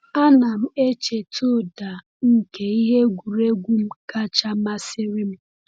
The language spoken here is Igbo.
A na m echeta ụda nke ihe egwuregwu m kacha masịrị m.